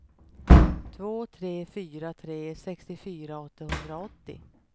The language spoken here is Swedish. två tre fyra tre sextiofyra åttahundraåttio